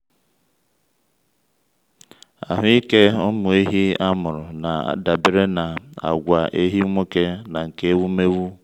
ahụ́ike ụmụ ehi a mụrụ na-adabere na àgwà ehi nwoke na nke ewumewụ.